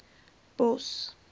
bos